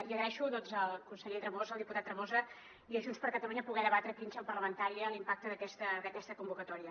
i agraeixo al conseller tremosa al diputat tremosa i a junts per catalunya poder debatre aquí en seu parlamentària l’impacte d’aquesta convocatòria